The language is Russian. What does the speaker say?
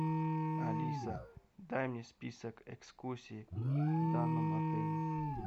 алиса дай мне список экскурсий в данном отеле